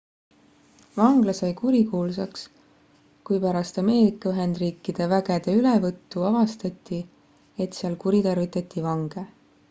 vangla sai kurikuulsaks kui pärast ameerika ühendriikide vägede ülevõttu avastati et seal kuritarvitati vange